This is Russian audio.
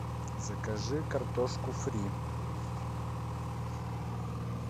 закажи картошку фри